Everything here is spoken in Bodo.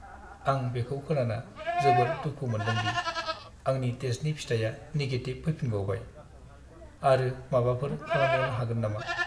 आं बेखौ खोनाना जोबोर दुखु मोनदोंदि आंनि टेस्टनि फिथाइआ निगेटिभ फैफिनबावबाय। आरो माबाफोर खालामबावनो हागोन नामा?